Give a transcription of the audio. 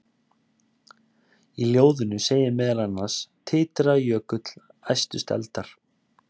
Í ljóðinu segir meðal annars: Titraði jökull, æstust eldar,